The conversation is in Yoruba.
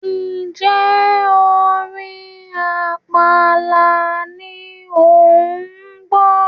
ǹjẹ́ orin àpàlà ni òun gbọ́?